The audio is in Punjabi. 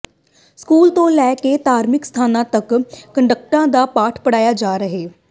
ਸਕੂਲ ਤੋਂ ਲੈ ਕੇ ਧਾਰਮਿਕ ਸਥਾਨਾਂ ਤੱਕ ਕੱਟੜਤਾ ਦਾ ਪਾਠ ਪੜ੍ਹਾਇਆ ਜਾ ਰਿਹੈ